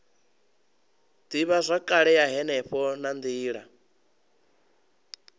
ivhazwakale ya henefho na nila